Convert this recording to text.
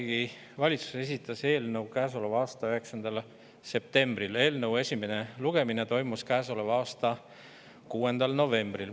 Vabariigi Valitsus esitas eelnõu käesoleva aasta 9. septembril ja selle esimene lugemine toimus käesoleva aasta 6. novembril.